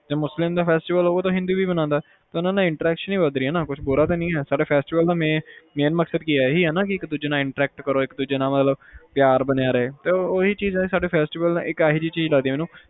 ਜੇਕਰ ਮੁਸਲਿਮ ਦਾ festival ਹੋਵੇ ਹਿੰਦੂ ਵੀ ਮਨਾਂਦਾ ਇਹਦੇ ਨਾਲ interaction ਈ ਵੱਧ ਰਹੀ ਆ ਕੁਛ ਬੁਰਾ ਰਾ ਨੀ ਹੋ ਰਿਹਾ main ਮਕਸਦ ਹੀ ਆ ਕੇ ਇੱਕ ਦੂਜੇ ਨਾਲ interaction ਵਧੇ ਪਿਆਰ ਬਣਿਆ ਰਹੇ ਆ festival ਇੱਕ ਅਜਿਹੀ ਚੀਜ਼ ਐ